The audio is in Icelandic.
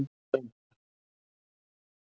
Björg, ekki fórstu með þeim?